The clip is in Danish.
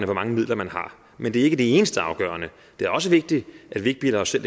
mange midler man har men det er ikke det eneste afgørende det er også vigtigt at vi ikke bilder os selv